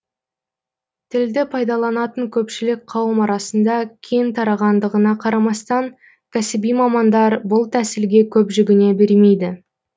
тілді пайдаланатын көпшілік қауым арасында кең тарағандығына қарамастан кәсіби мамандар бұл тәсілге көп жүгіне бермейді